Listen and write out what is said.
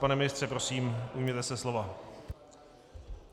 Pane ministře, prosím, ujměte se slova.